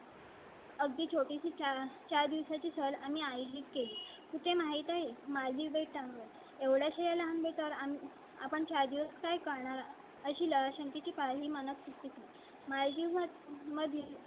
अगदी छोटीच चार दिवसा ची सलामी आय ली ते माहित आहे माझी भेट आहे एवढ्या लांबी तर आपण चार दिवस काय करणार अशी ला शक्ती पाहिली. मानक सुट्टी माझी मग मधील.